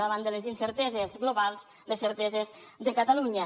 davant de les incerteses globals les certeses de catalunya